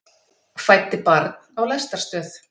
Fæddi barn á lestarstöð